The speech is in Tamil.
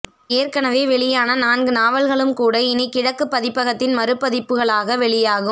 ஏற்கெனவே வெளியான நான்கு நாவல்களும்கூட இனி கிழக்கு பதிப்பகத்தின் மறுபதிப்புகளாக வெளியாகும்